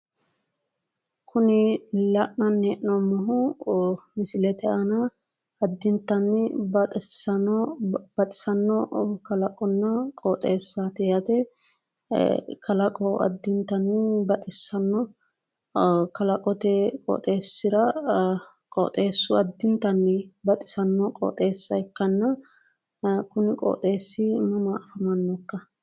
Kuni la'nanni hee'noommohu misilete aana addintanni baxissanno kalaqonna qooxeessaati yaate. Kalaqo addintanni baxissanno. Kalaqote qooxeessira qooxeessu addintanni baxissanno qooxeessa ikkanna kuni qooxeessi mama afamannokka?